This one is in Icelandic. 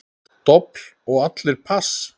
Dobl og allir pass.